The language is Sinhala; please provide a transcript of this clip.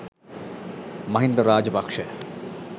mahinda rajapaksha